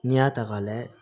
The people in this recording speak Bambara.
N'i y'a ta k'a layɛ